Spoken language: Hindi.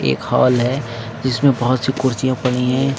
एक हाल है जिसमें बहोत सी कुर्सियां पड़ी हैं।